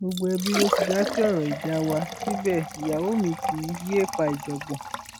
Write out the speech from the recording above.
gbogbo ẹbí ló ti dá sí ọrọ ìjà wa síbẹ ìyàwó mi kì í yéé fa ìjàngbọn